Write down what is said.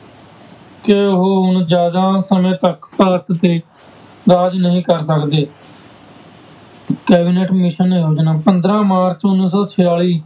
ਕਿ ਉਹ ਹੁਣ ਜ਼ਿਆਦਾ ਸਮੇਂ ਤੱਕ ਭਾਰਤ ਤੇ ਰਾਜ ਨਹੀਂ ਕਰ ਸਕਦੇ cabinet mission ਨੇ ਉਹਦੇ ਨਾਲ ਪੰਦਰਾਂ ਮਾਰਚ ਉੱਨੀ ਸੌ ਛਿਆਲੀ,